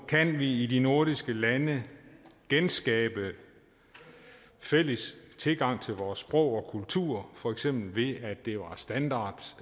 kan vi i de nordiske lande genskabe en fælles tilgang til vores sprog og kultur for eksempel ved at det blev standard